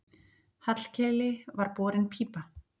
Hallkeli var borin pípa.